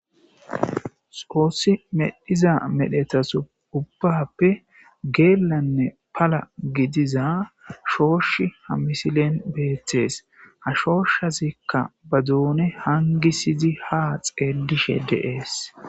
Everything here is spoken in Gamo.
xoossi medhiza medhetasu ubbappe geelanne pala gidiza shooshi ha misilen beettees ha shooshazikka ba duune hangisizi ha xeellishe deees